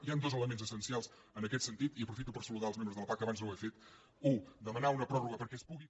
hi han dos elements essencials en aquest sentit i aprofito per saludar els membres de la pah que abans no ho he fet u demanar una pròrroga perquè es pugui